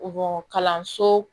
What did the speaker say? kalanso